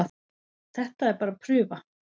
Þetta er bara prufa